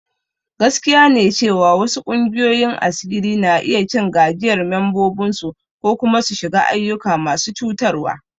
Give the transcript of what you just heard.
Gaskiya ne cewa wasu ƙungiyoyin asiri na iya cin gajiyar membobinsu ko kuma su shiga ayyuka masu cutarwa.